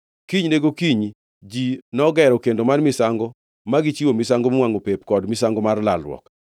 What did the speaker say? Kinyne gokinyi ji nogero kendo mar misango ma gichiwo misango miwangʼo pep kod misango mar lalruok.